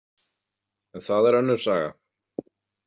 En það er önnur saga.